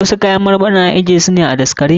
Wasu kayan marmarin ana ajje su ne a daskare.